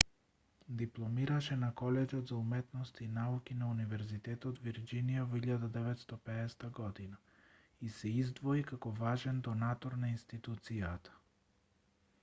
дипломираше на колеџот за уметности и науки на универзитетот вирџинија во 1950 година и се издвои како важен донатор на институцијата